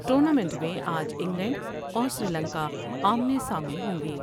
ٹورنا minute میں آ ج انگلینڈ اور سری لنکا آمنے سامنے ہوں گے ۔